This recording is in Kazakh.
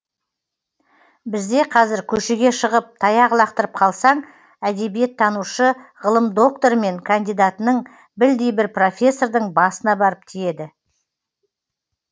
бізде қазір көшеге шығып таяқ лақтырып қалсаң әдебиеттанушы ғылым докторы мен кандидатының білдей бір профессордың басына барып тиеді